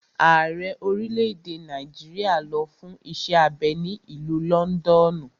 Ààrẹ orílẹ̀-èdè Nàìjíríà lọ fún iṣẹ́ abẹ ní ìlú lọ́ndọ̀nù.